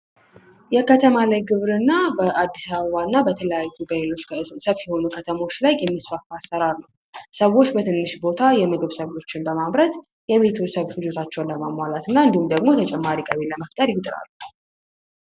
የከተማ ላይ ግብርና በአዲስ አበባ እና በሌሎች ሰፋፊ በሆኑ ከተሞች ላይ የሚስፋፋ አሰራር ነው። ሰዎች በትንሽ ቦታ ላይ የምግብ ሰብሎችን በማምረት የቤትሰብ ፍጀታቸውን ለማሟላት እና እንዲሁም ደግሞ ተጨማሪ ገቢ ለመፍጠር ይጥራሉ።